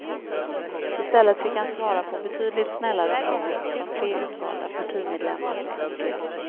I stället fick han svara på betydligt snällare frågor från tre utvalda partimedlemmar på podiet.